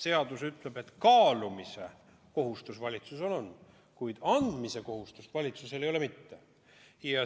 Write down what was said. Seadus ütleb, et kaalumise kohustus valitsusel on, kuid andmise kohustust valitsusel ei ole.